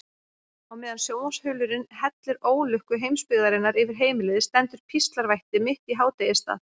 Á meðan sjónvarpsþulurinn hellir ólukku heimsbyggðarinnar yfir heimilið stendur píslarvætti mitt í hádegisstað.